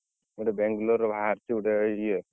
ଏଠି ବାଙ୍ଗଲୋରରେ ଭାରିଚି ଗୋଟେ ଇଏ।